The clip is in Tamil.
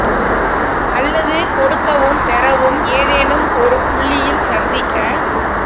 அல்லது கொடுக்கவும் பெறவும் ஏதேனும் ஒரு புள்ளியில் சந்திக்க